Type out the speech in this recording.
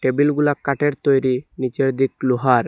টেবিলগুলা কাটের তৈরি নিচের দিক লোহার।